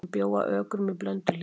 Hann bjó að Ökrum í Blönduhlíð.